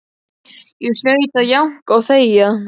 Ég hlaut að jánka og þegja.